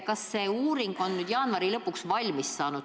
Kas see uuring sai nüüd jaanuari lõpuks valmis?